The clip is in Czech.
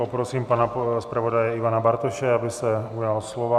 Poprosím pana zpravodaje Ivana Bartoše, aby se ujal slova.